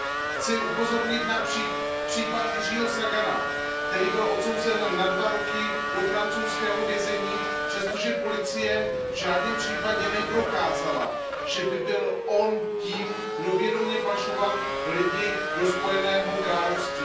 Chci upozornit na případ Jiřího Sagana, který byl odsouzen na dva roky do francouzského vězení, přestože policie v žádném případě neprokázala, že by byl on tím, kdo vědomě pašoval lidi do Spojeného království.